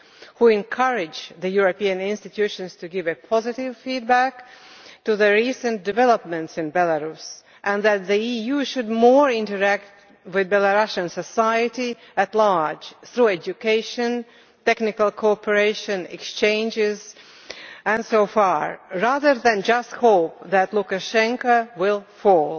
who encourage the European institutions to give positive feedback to the recent developments in Belarus and who say that the EU should interact more with Belarusian society at large through education, technical cooperation exchanges and so on, rather than just hoping that Lukashenko will fall.